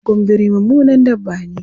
Gwaggon biri mummunan dabba ne.